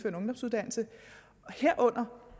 ungdomsuddannelse